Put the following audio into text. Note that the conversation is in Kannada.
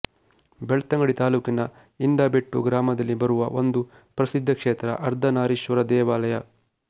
ಬೆಳ್ತಂಗಡಿ ತಾಲೂಕಿನ ಇಂದಬೆಟ್ಟು ಗ್ರಾಮದಲ್ಲಿ ಬರುವ ಒಂದು ಪ್ರಸಿದ್ದ ಕ್ಷೇತ್ರ ಅರ್ಧನಾರೀಶ್ವರ ದೇವಾಲಯ